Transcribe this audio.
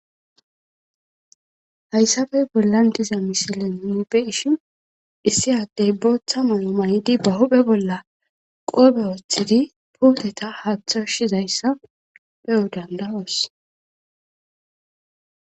Hayssabey bollan diza misile miube ishin issi addey booththa malo manidi ba huphe bolla qoobe woothidi puodeta haaththo shizayssa pe7o dandawoos